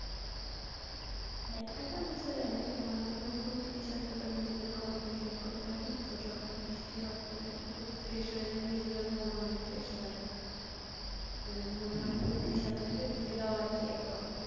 ব্যাখ্যাটা বোঝা যায়না। কিন্তু আমরা আসলে প্রকৃতির সাথে তো নিজেদের কে অনেক relate করতে পারি। তো যখন বৃষ্টি হয় প্রকৃতি খুব fresh হয়ে যায়। নিজেদের মন অনেক fresh লাগে। মানে মনে হয় প্রকৃতির সাথে সাথে নিজেরাও আর কি একদম